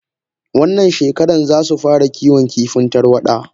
Wannan shekaran zasu fara Kiwon kifin tarwada.